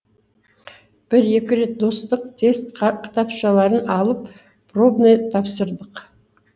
бір екі рет достық тест кітапшаларын алып пробный тапсырдық